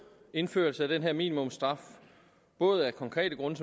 indførelsen af den her minimumsstraf både af konkrete grunde